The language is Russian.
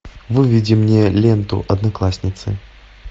выведи мне ленту одноклассницы